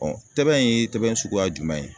tɛbɛn in ye tɛbɛn suguya jumɛn ye?